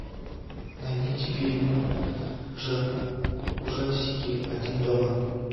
найдите фильм жанр ужастики один дома